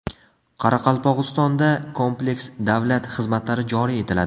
Qoraqalpog‘istonda kompleks davlat xizmatlari joriy etiladi.